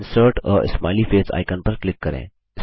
insert a smiley face icon पर click करें